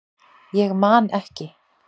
Ég man ekki